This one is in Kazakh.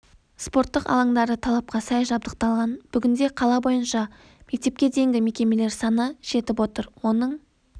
спорттық алаңдары талапқа сай жабдықталған бүгінде қала бойынша мектепке дейінгі мекемелер саны жетіп отыр оның